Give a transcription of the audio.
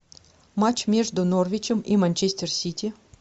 матч между норвичем и манчестер сити